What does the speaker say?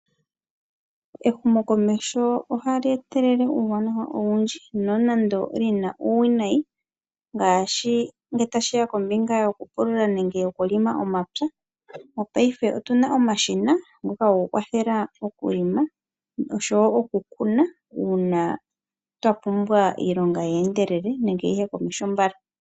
Ehumo komeho ohali etelele uuwanawa owundji nonando olina uuwinayi ngaashi ngele tashiya kombinga yokupulula nokuhelela omapya otuna omashina ngoka gokukwathela okuhelela oshowo okukuna uuna twapumbwa iilonga yiye komeho mbala.